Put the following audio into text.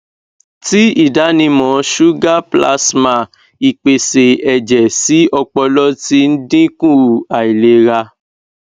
ti idanimọ suga plasma ipese ẹjẹ si ọpọlọ ti dinku ailera